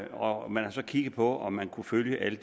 og man har så kigget på om man kunne følge alle